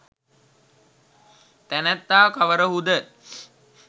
තැනැත්තා කවරහු ද?